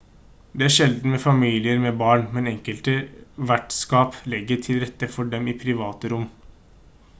det er sjeldent med familier med barn men enkelte vertskap legger til rette for dem i private rom